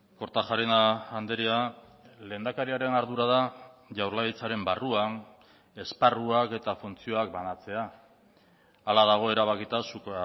kortajarena andrea lehendakariaren ardura da jaurlaritzaren barruan esparruak eta funtzioak banatzea hala dago erabakita zuk